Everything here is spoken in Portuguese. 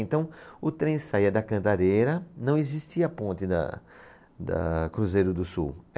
Então, o trem saía da cantareira, não existia a ponte da, da Cruzeiro do Sul.